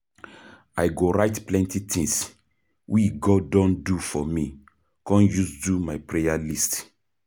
I go write plenty things we God don do for me come use do my prayer list.